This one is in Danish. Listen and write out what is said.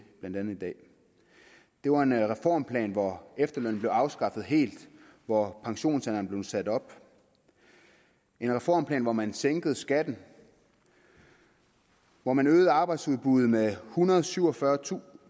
blandt andet i dag det var en reformplan hvor efterlønnen blev afskaffet helt og hvor pensionsalderen blev sat op en reformplan hvor man sænkede skatten og hvor man øgede arbejdsudbuddet med ethundrede og syvogfyrretusind